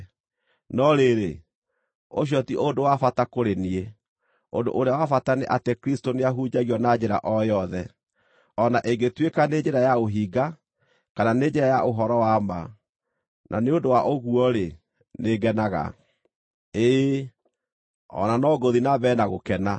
No rĩrĩ, ũcio ti ũndũ wa bata kũrĩ niĩ. Ũndũ ũrĩa wa bata nĩ atĩ Kristũ nĩahunjagio na njĩra o yothe, o na ĩngĩtuĩka nĩ njĩra ya ũhinga, kana nĩ njĩra ya ũhoro wa ma. Na nĩ ũndũ wa ũguo-rĩ, nĩngenaga. Ĩĩ, o na no ngũthiĩ na mbere na gũkena,